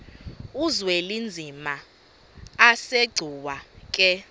uzwelinzima asegcuwa ke